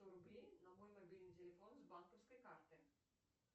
сто рублей на мой мобильный телефон с банковской карты